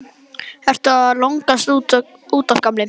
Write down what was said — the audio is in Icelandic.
Ertu að lognast út af, gamli?